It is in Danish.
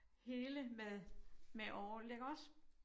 Hele med med orgel iggås